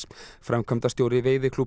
framkvæmdastjóri